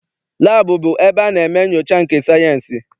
Laabụ bụ ebe a na-eme nnyocha nke sayịensị.